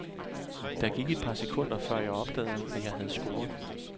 Der gik et par sekunder, før jeg opdagede, at jeg havde scoret.